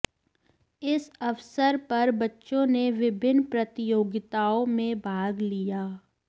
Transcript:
इस अवसर पर बच्चों ने विभिन्न प्रतियोगिताओं में भाग लिया